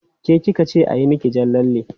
Ke ki ka ce a yi miki jan lalle?